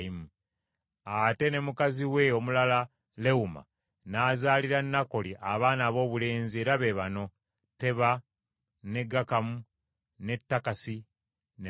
Ate ne mukazi we omulala Lewuma n’azaalira Nakoli, abaana aboobulenzi era be bano: Teba, ne Gakamu, ne Takasi, ne Maaka.